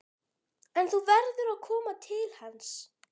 En þú verður að koma til hans.